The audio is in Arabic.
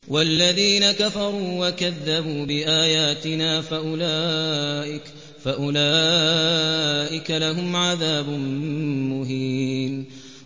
وَالَّذِينَ كَفَرُوا وَكَذَّبُوا بِآيَاتِنَا فَأُولَٰئِكَ لَهُمْ عَذَابٌ مُّهِينٌ